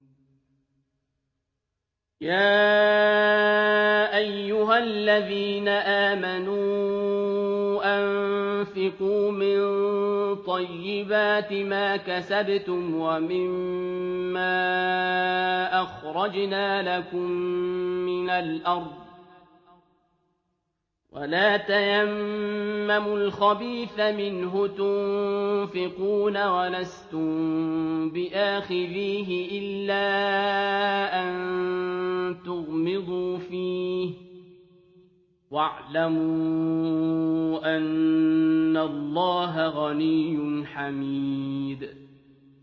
يَا أَيُّهَا الَّذِينَ آمَنُوا أَنفِقُوا مِن طَيِّبَاتِ مَا كَسَبْتُمْ وَمِمَّا أَخْرَجْنَا لَكُم مِّنَ الْأَرْضِ ۖ وَلَا تَيَمَّمُوا الْخَبِيثَ مِنْهُ تُنفِقُونَ وَلَسْتُم بِآخِذِيهِ إِلَّا أَن تُغْمِضُوا فِيهِ ۚ وَاعْلَمُوا أَنَّ اللَّهَ غَنِيٌّ حَمِيدٌ